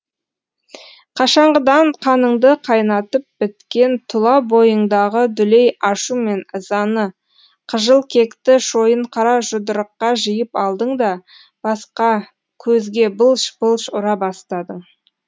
қашанғыдан қаныңды қайнатып біткен тұла бойыңдағы дүлей ашу мен ызаны қыжыл кекті шойын қара жұдырыққа жиып алдың да басқа көзге былш былш ұра бастадың